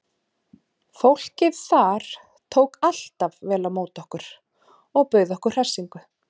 Fólkið þar tók alltaf vel á móti okkur og bauð okkur hressingu.